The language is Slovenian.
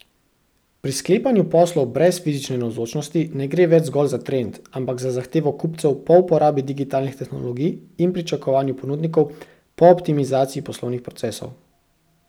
Pri sklepanju poslov brez fizične navzočnosti ne gre več zgolj za trend, ampak za zahtevo kupcev po uporabi digitalnih tehnologij in pričakovanju ponudnikov po optimizaciji poslovnih procesov.